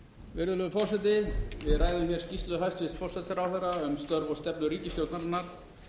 virðulegur forseti við ræðum störf og stefnu forsætisráðherra um störf og stefnu ríkisstjórnarinnar